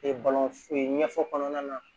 ɲɛfɔ kɔnɔna na